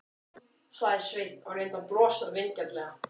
sagði Sveinn og reyndi að brosa vingjarnlega.